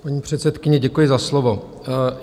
Paní předsedkyně, děkuji za slovo.